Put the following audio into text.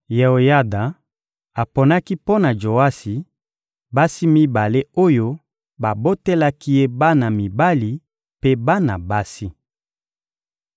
Yeoyada aponaki mpo na Joasi basi mibale oyo babotelaki ye bana mibali mpe bana basi.